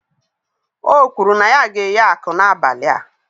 O kwuru na ya ga-eghe aku n'abalị a